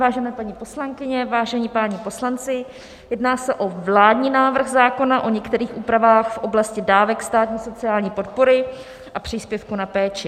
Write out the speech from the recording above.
Vážené paní poslankyně, vážení páni poslanci, jedná se o vládní návrh zákona o některých úpravách v oblasti dávek státní sociální podpory a příspěvku na péči.